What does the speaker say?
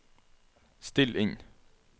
still inn